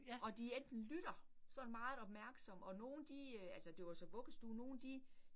Og de enten lytter sådan meget opmærksomt, og nogle de øh altså det var så vuggestue, og nogle de